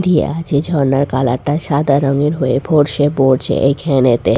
দিয়া আছে ঝর্ণার কালার -টা সাদা রঙের হয়ে ফোর্স -এ পড়ছে এইখেনেতে--